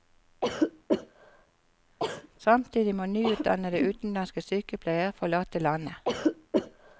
Samtidig må nyutdannede utenlandske sykepleiere forlate landet.